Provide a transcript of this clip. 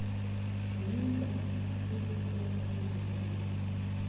ngemiba ezisenza mandundu